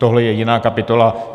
Tohle je jiná kapitola.